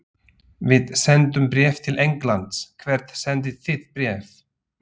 Við sendum bréf til Englands. Hvert sendið þið bréf?